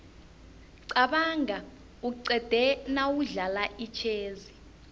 qabanga uqede nawudlala itjhezi